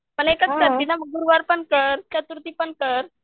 पण एकच करती ना मग गुरुवार पण कर चतुर्थी पण कर